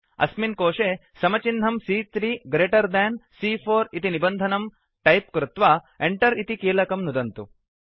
अस्मिन् कोशे समचिह्नं सी॰॰3 ग्रेटर् देन् सी॰॰4 इति निबन्धनं टैप् कृत्वा Enter इति कीलकं नुदन्तु